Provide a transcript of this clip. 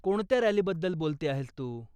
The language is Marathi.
कोणत्या रॅलीबद्दल बोलते आहेस तू?